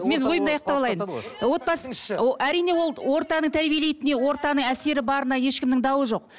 мен ойымды аяқтап алайын отбасы әрине ол ортаның тәрбиелейтініне ортаның әсері барына ешкімнің дауы жоқ